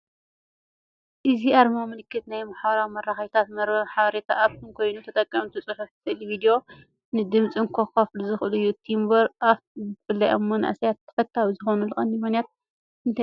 እዚ ኣርማ ምልክት ናይ ማሕበራዊ መራኸቢታት መርበብ ሓበሬታን ኣፕን ኮይኑ፡ ተጠቀምቲ ጽሑፍ፡ ስእሊ፡ ቪድዮ፡ GIFን ድምጽን ከካፍሉ ዝኽእሉሉ እዩ። ቱምብለር ኣፕ ብፍላይ ኣብ መንእሰያት ተፈታዊ ዝኾነሉ ቀንዲ ምኽንያት እንታይ እዩ?